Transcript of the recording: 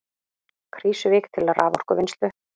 Krýsuvík til raforkuvinnslu.